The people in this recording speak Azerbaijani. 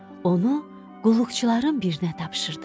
Onu qulluqçuların birinə tapşırdı.